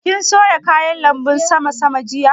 Kin soya kayan lanbun sama sama jiya?